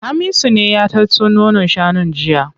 Hamisu ne ya tatso nonon shanun jiya.